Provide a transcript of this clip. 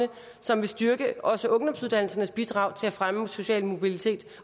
som vil styrke også ungdomsuddannelsernes bidrag til at fremme social mobilitet